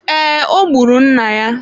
Ee ọ gburu nna ya.